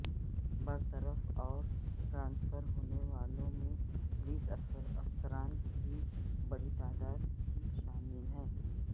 برطرف اور ٹرانسفر ہونے والوں میں پولیس افسران کی بڑی تعداد بھی شامل ہے